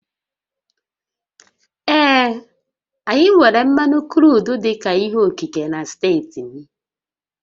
Ee, anyị nwèrè mmanụ kruudu dị ka ihe okike na steeti m